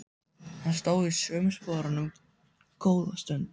Hann stóð í sömu sporunum góða stund.